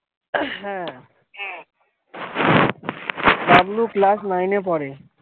হ্যাঁ, হ্যাঁ Bablu class nine এ পড়ে।